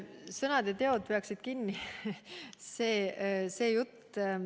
Et sõnad ja teod.